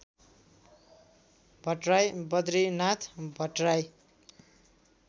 Bhattarai Badrinath Bhattarai